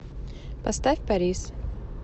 поставь парис